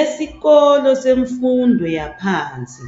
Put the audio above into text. Esikolo semfundo yaphansi